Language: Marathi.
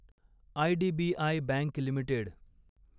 IDBI bank limited